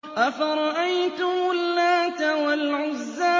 أَفَرَأَيْتُمُ اللَّاتَ وَالْعُزَّىٰ